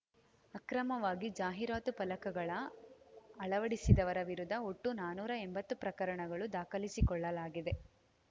ಅಕ್ರಮವಾಗಿ ಜಾಹೀರಾತು ಫಲಕಗಳ ಅಳವಡಿಸಿದವರ ವಿರುದ್ಧ ಒಟ್ಟು ನಾನೂರ ಎಂಬತ್ತು ಪ್ರಕರಣಗಳು ದಾಖಲಿಸಿಕೊಳ್ಳಲಾಗಿದೆ